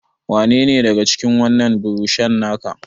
Wanne ne daga cikin wannan burushan naka?